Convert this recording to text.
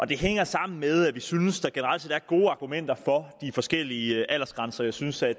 det hænger sammen med at vi synes at der generelt set er gode argumenter for de forskellige aldersgrænser jeg synes at